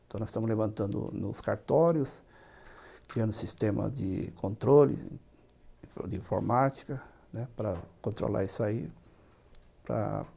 Então, nós estamos levantando nos cartórios, criando sistema de controle de informática, né, para controlar isso aí. Para